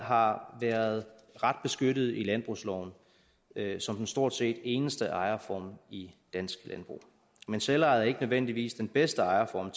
har været ret beskyttet i landbrugsloven som den stort set eneste ejerform i dansk landbrug men selvejet er ikke nødvendigvis den bedste ejerform